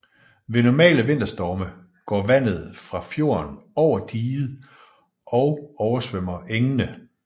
Ved normale vinterstorme går vandet fra fjorden over diget og oversvømmer engene